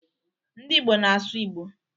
Ndị Igbo na-asụ Igbo.